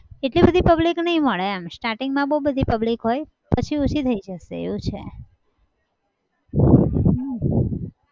એટલી બધી public નહિ મળે એમ. starting માં બહુ બધી public હોય પછી ઓંછી થઈ જશે એવું છે. હમ